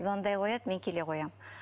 звондай қояды мен келе қоямын